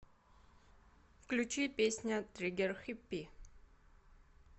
включи песня триггер хиппи